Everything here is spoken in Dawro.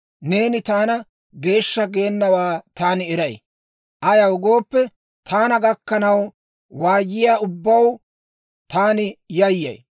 neeni taana geeshsha geenawaa taani eray; ayaw gooppe, taana gakkana waayiyaa ubbaw taani yayyay.